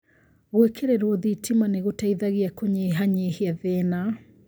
Gũĩkĩrĩrwo thitima nĩ gũteithagia kũnyihanyihia thĩĩna